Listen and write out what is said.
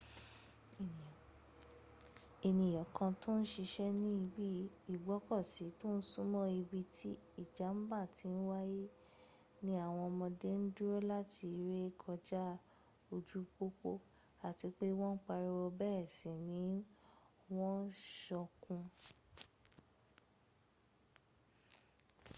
èèyàn kan tò ń siṣẹ́ ní ibi ìgbọ́kọ̀sí tó súnmọ́ ibi tí ìjàm̀bá ti wáyé ní àwọn ọmọ́dé ń dúró láti ré kọjá ojú pópó àti pé wọ́n ń pariwo bẹ́ẹ̀sì ni wọ́n ń sọkún.